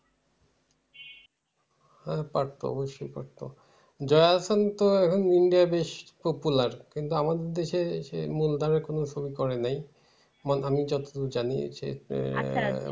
না না পারতো অবশ্যই পারতো যা এখন তো এখন India বেশ popular কিন্তু আমাদের দেশে এসে মূলধারায় কোনো ছবি করে নাই আমি যতদূর জানি আহ